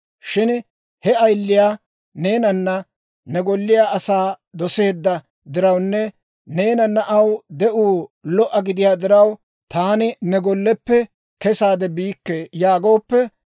«Shin he ayiliyaa neenanne ne golliyaa asaa doseedda dirawunne neenana aw de'uu lo"o gidiyaa diraw, ‹Taani ne golleppe kesaade biikke› yaagooppe,